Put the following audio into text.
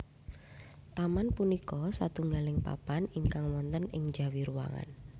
Taman punika satunggaling papan ingkang wonten ing njawi ruangan